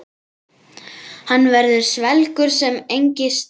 Hann verður svelgur sem engist.